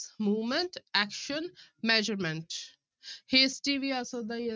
Movement, action, measurement hasty ਵੀ ਆ ਸਕਦਾ ਹੈ।